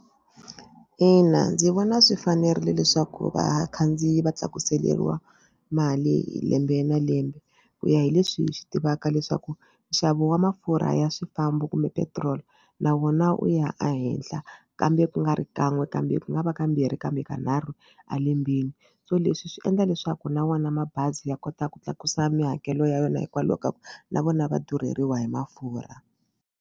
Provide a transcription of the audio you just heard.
Ina ndzi vona swi fanerile leswaku vakhandziyi va tlakuseriwa mali hi lembe na lembe ku ya hi leswi hi swi tivaka leswaku nxavo wa mafurha ya swifambo kumbe petiroli na wona wu ya ehenhla kambe ku nga ri kan'we kambe ku nga va kambirhi kambe kanharhu a lembeni so leswi swi endla leswaku na wona mabazi ya kota ku tlakusa mihakelo ya yona hikwalaho ka ku na vona va durheriwa hi mafurha.